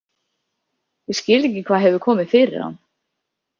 Ég skil ekki hvað hefur komið fyrir hann.